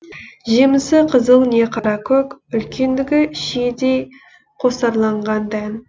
жемісі қызыл не қара көк үлкендігі шиедей қосарланған дән